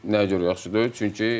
Nəyə görə yaxşı deyil?